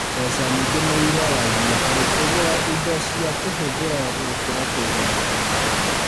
Mbeca nyingĩ nĩiroragio harĩ kũgũra indo cia kũhũthĩra gũkira kũiga mũthithũ